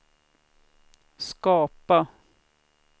skapa